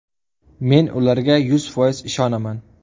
Men ularga yuz foiz ishonaman.